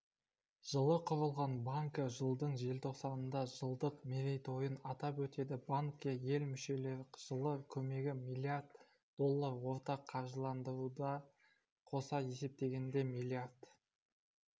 жылы құрылған банкі жылдың желтоқсанында жылдық мерейтойын атап өтеді банкке ел мүше жылы көмегі млрд доллар ортақ қаржыландыруды қоса есептегенде миллиард